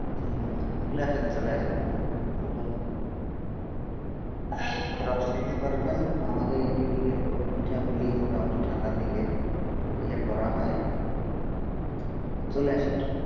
চলে আসেন, চলে আসেন, চলে আসেন রস খেতে পারবেন, আমাদের এই দিকে তো পিঠাপুলি মোটামুটি ঠান্ডার দিকে ইয়ে করা হয় চলে আসেন।